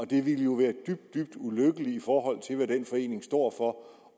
det ville jo være dybt dybt ulykkeligt i forhold til hvad den forening står for